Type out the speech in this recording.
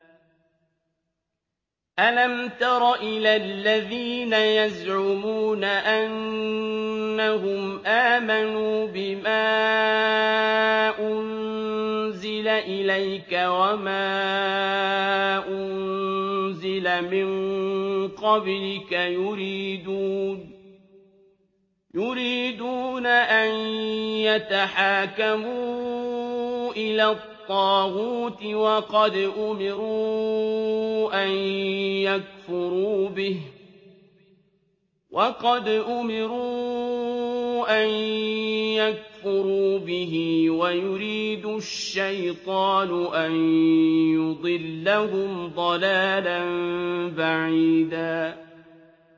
أَلَمْ تَرَ إِلَى الَّذِينَ يَزْعُمُونَ أَنَّهُمْ آمَنُوا بِمَا أُنزِلَ إِلَيْكَ وَمَا أُنزِلَ مِن قَبْلِكَ يُرِيدُونَ أَن يَتَحَاكَمُوا إِلَى الطَّاغُوتِ وَقَدْ أُمِرُوا أَن يَكْفُرُوا بِهِ وَيُرِيدُ الشَّيْطَانُ أَن يُضِلَّهُمْ ضَلَالًا بَعِيدًا